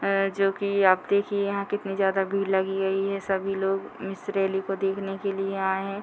है जो की आप देखिये यहां कितनी ज्यादा भीड़ लगी हुई हैं। ये सभी लोग इस रेली को देखने के लिए आए हैं।